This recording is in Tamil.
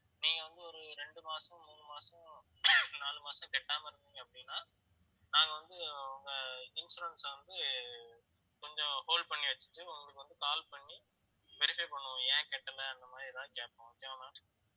நீங்க வந்து ஒரு ரெண்டு மாசம் மூணு மாசம் நாலு மாசம் கட்டாம இருந்திங்க அப்படின்னா நாங்க வந்து உங்க insurance அ வந்து கொஞ்சம் hold பண்ணி வச்சுட்டு உங்களுக்கு வந்து call பண்ணி verify பண்ணுவோம் ஏன் கட்டலை அந்த மாதிரி ஏதாவது கேட்போம் okay வா ma'am